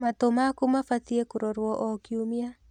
Matũ maku mabatiĩ kũrorwo o kiumia.